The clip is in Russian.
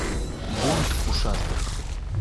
бунт ушастых